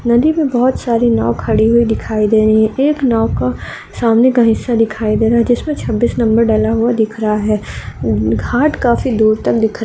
नदी में बहोत साडी नाओ खरी हुयी दिखाई रही हैं। एक नाओ का सामने का हिस्सा दिखाई दे रहा है जिसमे छब्बीस नंबर डला हुआ दिख रहा है। घाट काफी दूर तक दिख --